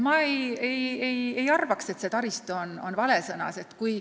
Ma ei arva, et taristu on vale sõna.